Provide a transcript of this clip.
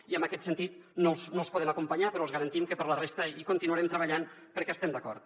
i en aquest sentit no els podem acompanyar però els garantim que per a la resta hi continuarem treballant perquè hi estem d’acord